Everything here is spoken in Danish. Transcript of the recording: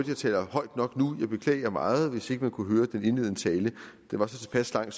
jeg taler højt nok nu jeg beklager meget hvis ikke man kunne høre den indledende tale den var så tilpas lang